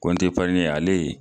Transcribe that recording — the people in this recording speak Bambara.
Kɔnti epariɲi ale